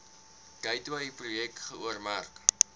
gateway projek geoormerk